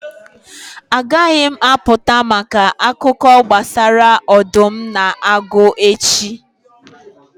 Agaghị m apụta maka akụkọ gbasara ọdụm na agụ echi.